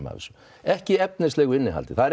af þessu ekki efnilegu innihaldi